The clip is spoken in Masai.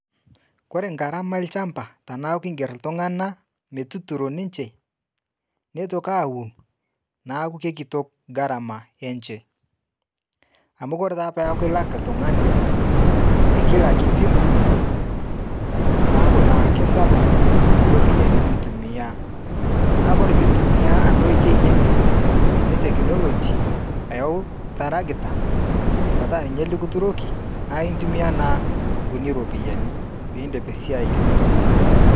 Ore garama olchamba teniaku inger iltunganak metuturo ninche neitoki aaun neaku keikitok garama enye amu ore peaku ilak oltungani te {kila kipimo} neaku naa kikumok iropiyiani nintumiaa. Tentintumiaa ena oitoi ngejuk e {technology} ayawu oltarakita likituroki naa intumia naa nkuti ropiyiani pee iindip esiai ino.